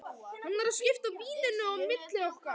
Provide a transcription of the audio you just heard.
Hann var að skipta víninu á milli okkar!